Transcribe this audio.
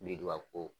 Biriduga ko